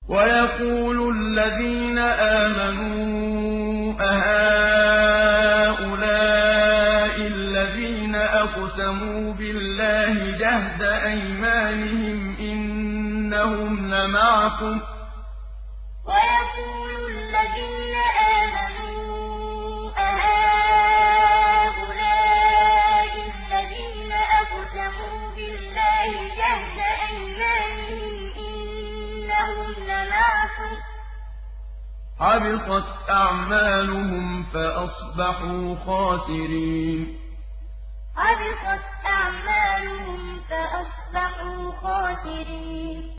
وَيَقُولُ الَّذِينَ آمَنُوا أَهَٰؤُلَاءِ الَّذِينَ أَقْسَمُوا بِاللَّهِ جَهْدَ أَيْمَانِهِمْ ۙ إِنَّهُمْ لَمَعَكُمْ ۚ حَبِطَتْ أَعْمَالُهُمْ فَأَصْبَحُوا خَاسِرِينَ وَيَقُولُ الَّذِينَ آمَنُوا أَهَٰؤُلَاءِ الَّذِينَ أَقْسَمُوا بِاللَّهِ جَهْدَ أَيْمَانِهِمْ ۙ إِنَّهُمْ لَمَعَكُمْ ۚ حَبِطَتْ أَعْمَالُهُمْ فَأَصْبَحُوا خَاسِرِينَ